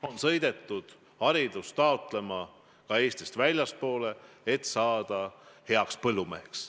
On ju sõidetud haridust omandama ka Eestist väljapoole, et saada heaks põllumeheks.